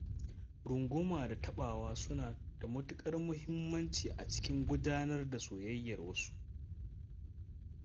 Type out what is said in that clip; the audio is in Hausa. Runguma da taɓawa suna da matuƙar muhimmanci a cikin gudanar da soyayyar wasu.